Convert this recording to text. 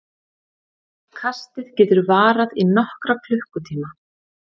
Kastið getur varað í nokkra klukkutíma.